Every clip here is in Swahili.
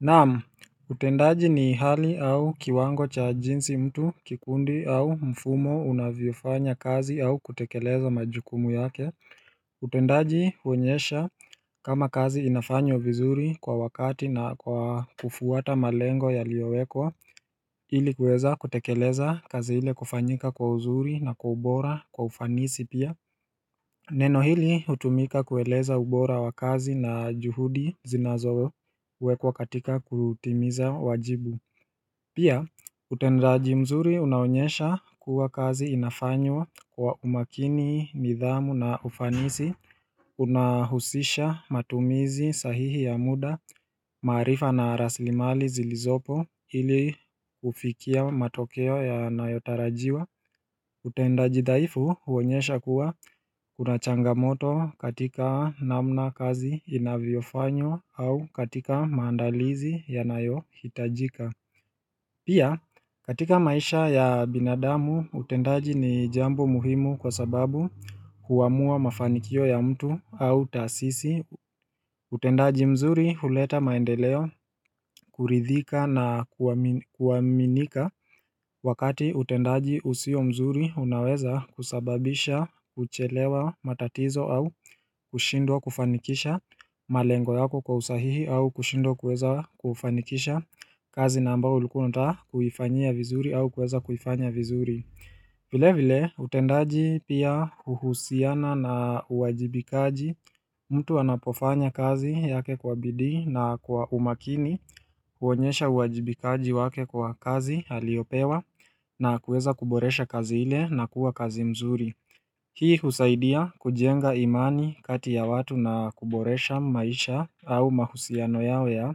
Namu, utendaji ni hali au kiwango cha jinsi mtu kikundi au mfumo unavyofanya kazi au kutekeleza majukumu yake utendaji huonyesha kama kazi inafanywa vizuri kwa wakati na kwa kufuata malengo ya liowekwa Ili kuweza kutekeleza kazi ile kufanyika kwa uzuri na kwa ubora kwa ufanisi pia Neno hili hutumika kueleza ubora wa kazi na juhudi zinazowe kwa katika kutimiza wajibu Pia utendaji mzuri unaonyesha kuwa kazi inafanywa kwa umakini, nidhamu na ufanisi Unahusisha matumizi sahihi ya muda, maarifa na raslimali zilizopo ili hufikia matokeo ya nayotarajiwa utendaji dhaifu huonyesha kuwa kuna changamoto katika namna kazi inavyofanywa au katika maandalizi yanayo hitajika Pia katika maisha ya binadamu utendaji ni jambo muhimu kwa sababu kuamua mafanikio ya mtu au taasisi utendaji mzuri huleta maendeleo kuridhika na kuaminika Wakati utendaji usio mzuri unaweza kusababisha uchelewa matatizo au kushindwa kufanikisha malengo yako kwa usahihi au kushindwa kuweza kufanikisha kazi naambao ulikua unata kufanyia vizuri au kuweza kufanya vizuri vile vile utendaji pia huhusiana na uwajibikaji mtu anapofanya kazi yake kwa bidii na kwa umakini huonyesha uwajibikaji wake kwa kazi aliopewa na kuweza kuboresha kazi ile na kuwa kazi mzuri. Hii husaidia kujenga imani kati ya watu na kuboresha maisha au mahusiano yao ya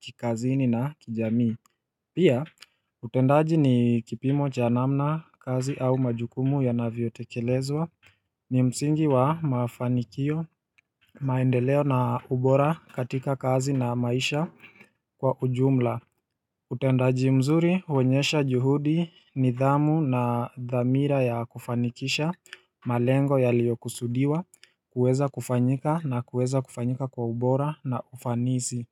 kikazini na kijami. Pia, utendaji ni kipimo cha namna kazi au majukumu ya navotekelezwa ni msingi wa mafanikio, maendeleo na ubora katika kazi na maisha kwa ujumla utendaji mzuri huonyesha juhudi nidhamu na dhamira ya kufanikisha, malengo yaliyo kusudiwa, kuweza kufanyika na kuweza kufanyika kwa ubora na ufanisi.